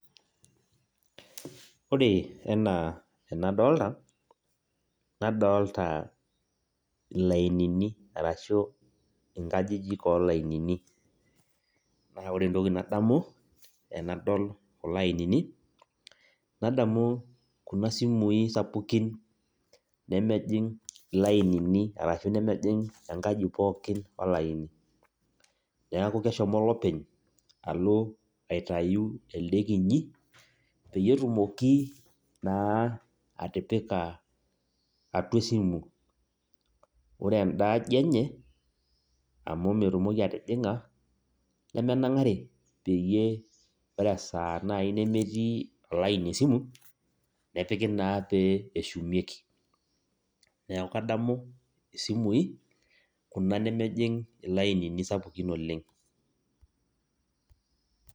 Ore enaa enadolta, nadolta ilainini arashu inkajijik olainini. Na ore entoki nadamu tenadol kulo ainini, nadamu kuna simui sapukin nemejing' ilainini arashu nemejing' enkaji pookin olaini. Neeku keshomo olopeny alo aitayu ele kinyi, peyie etumoki naa atipika atua esimu. Ore enda aji enye, amu metumoki atijing'a, nemenang'ari, peyie ore esaa nai nemetii olaini esimu, nepiki naa pee eshumieki. Neeku kadamu isimui, kuna nemejing ilainini sapukin oleng.